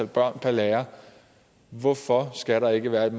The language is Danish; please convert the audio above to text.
børn per lærer hvorfor skal der ikke være et